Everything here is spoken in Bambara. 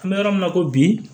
An bɛ yɔrɔ min na i ko bi